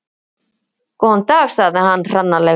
Góðan dag sagði hann hranalega.